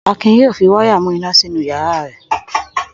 Akin yóò fi wáyà mú iná sínú ìyàrá rẹ̀.